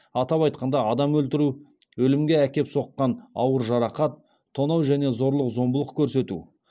атап айтқанда адам өлтіру өлімге әкеп соққан ауыр жарақат тонау және зорлық зомбылық көрсету